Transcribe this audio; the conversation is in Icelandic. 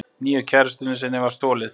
Nýju kærustunni þinni var stolið.